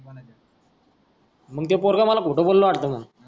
मग ते पोरग मला खोट बोलल वाटते मंग.